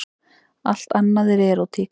Allt annað er erótík.